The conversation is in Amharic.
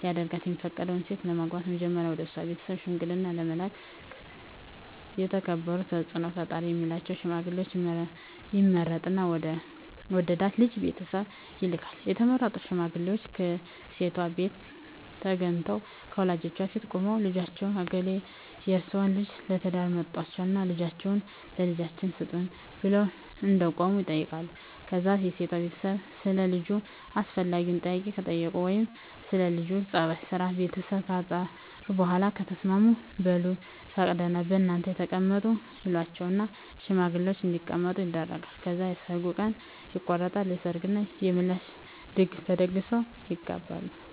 ሊያደርጋት የፈቀዳትን ሴት ለማግባት መጀመሪያ ወደሷ ቤተሰብ ሽምግልና ለመላክ የተከበሩና ተጽኖ ፈጣሪ ሚላቸውን ሽማግሌወች ይመርጥና ወደ ወደዳት ልጅ ቤተሰብ ይልካል፣ የተመረጡት ሽማግሌወችም ከሴቷቤት ተገንተው ከወላጆቿ ፊት ቁመው ልጃችን እገሌ የርሰወን ልጅ ለትዳር መርጧልና ልጃችሁን ለልጃችን ስጡን ብለው እንደቆሙ ይጠይቃሉ ከዛ የሴቷ ቤተሰብ ሰለ ልጁ አስፈላጊውን ጥያቄ ከጠየቁ ወይም ስለ ለጁ ጸባይ፣ ስራና ቤተሰቡ ካጣሩ በኋላ ከተስማሙ በሉ ፈቅደናል እናንተም ተቀመጡ ይሏቸውና ሽማግሌወችን እንዲቀመጡ ያደርጋሉ። ከዛ የሰርጉ ቀን ይቆረጥና የሰርግ እና የምላሽ ድግስ ተደግሶ ይጋባሉ።